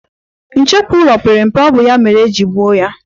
Nchekwu ụlọ pere mpe, ọ bụ ya mere e ji zọgbuo ya.